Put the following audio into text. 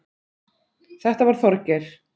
Þetta var Þorgeir.